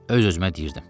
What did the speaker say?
Öz-özümə deyirdim.